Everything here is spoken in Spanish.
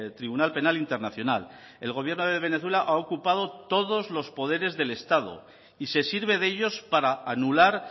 tribunal penal internacional el gobierno de venezuela ha ocupado todos los poderes del estado y se sirve de ellos para anular